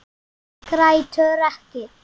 Grætur ekki.